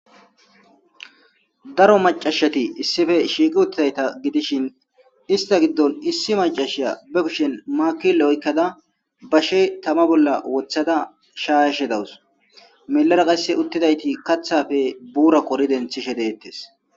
daro macashati issife shiiqi uttidayta gidishin ista giddon issi macashiya be bishen maaki lo7oykkada bashe tama bolla wothada shayashe dawus melara qasse uttidayti kathafe buura kori denthishe deettes